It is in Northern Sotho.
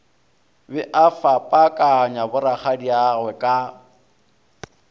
be a fapakanya borakgadiagwe ka